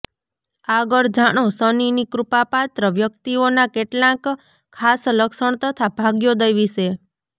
આગળ જાણો શનિની કૃપા પાત્ર વ્યક્તિઓનાં કેટલાંક ખાસ લક્ષણ તથા ભાગ્યોદય વિશે